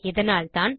இதனால்தான்